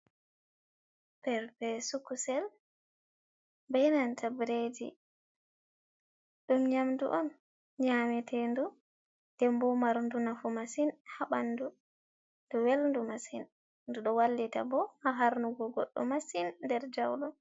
Perpesu kusel be nanta biredi dum nyamdu on nyametendu; d'embo marndu nafu masin ha bandu. 'Du welndu masin; du d'o wallita bo ha harnugo goddo masin der jaudum.